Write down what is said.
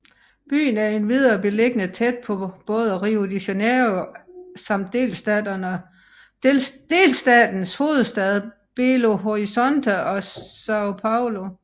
Byen er endvidere beliggende tæt på både Rio de Janeiro samt delstatens hovedstad Belo Horizonte og São Paulo